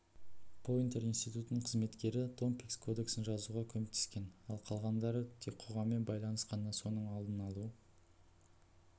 пойнтер институтының қызметкері томпкинс кодексін жазуға көмектескен ал қалғандары тек қоғаммен байланыс қана соның алдын алу